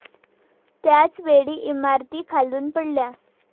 त्याच वेळी इमारतीखालून पडला.